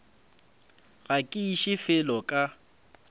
ga ke iše felo ka